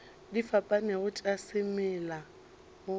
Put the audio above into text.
di fapanego tša semela o